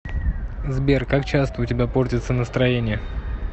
сбер как часто у тебя портится настроение